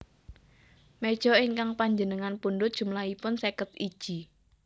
Mejo ingkang panjenengan pundhut jumlahipun seket iji